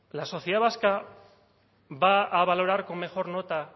la sociedad vasca va a valorar con mejor nota